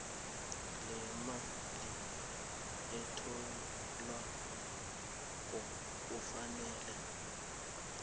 lemali etholwako kufanele